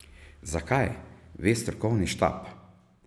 Zakaj, ve strokovni štab.